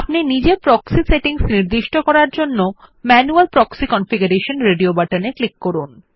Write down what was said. নিজে proxy settings নির্দিষ্ট করার জন্য ম্যানুয়াল প্রক্সি কনফিগারেশন রেডিও বাটনে এ ক্লিক করুন